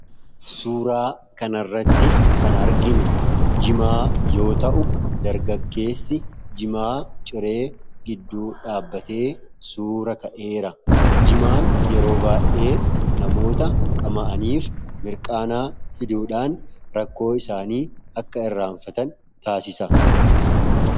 Suuraa kana irratti kan arginu jimaa yoo ta'u dargaggeessi jimaa ciree gidduu dhaabbatee suura ka'eera. Jimaan yeroo baay'ee namoota qama'aniif mirqaanaa fiduudhaan rakkoo isaanii akka irraanfatan taasisa.